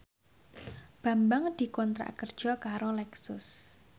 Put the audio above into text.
Bambang dikontrak kerja karo Lexus